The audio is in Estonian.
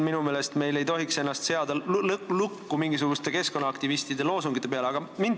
Minu meelest ei tohiks me ennast mingisuguste keskkonnaaktivistide loosungite peale lukku panna.